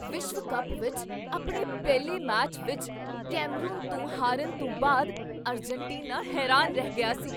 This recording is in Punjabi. ਵਿਸ਼ਵ ਕੱਪ ਵਿੱਚ ਆਪਣੇ ਪਹਿਲੇ ਮੈਚ ਵਿੱਚ ਕੈਮਰੂਨ ਤੋਂ ਹਾਰਨ ਤੋਂ ਬਾਅਦ ਅਰਜਨਟੀਨਾ ਹੈਰਾਨ ਰਹਿ ਗਿਆ ਸੀ।